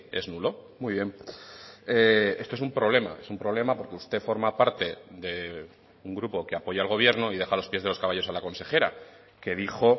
es nulo muy bien esto es un problema es un problema porque usted forma parte de un grupo que apoya al gobierno y deja a los pies de los caballos a la consejera que dijo